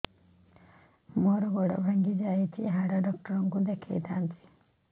ମୋର ଗୋଡ ଭାଙ୍ଗି ଯାଇଛି ହାଡ ଡକ୍ଟର ଙ୍କୁ ଦେଖେଇ ଥାନ୍ତି